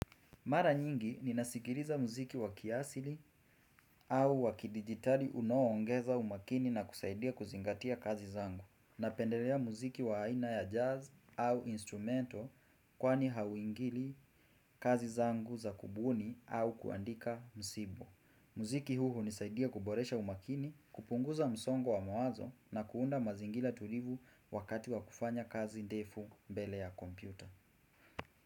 Mara nyingi ninasikiriza muziki wakiasili au wakidigitali unooongeza umakini na kusaidia kuzingatia kazi zangu. Napendelea muziki wa aina ya jazz au instrumento kwani hauingili kazi zangu za kubuni au kuandika msibo. Muziki huu nisaidia kuboresha umakini, kupunguza msongo wa mawazo na kuunda mazingila tulivu wakati wa kufanya kazi defu mbele ya kompyuta.